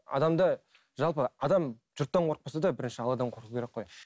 адамда жалпы адам жұрттан қорықпаса да бірінші алладан қорқу керек қой